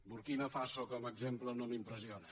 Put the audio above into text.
burkina faso com a exemple no m’impressiona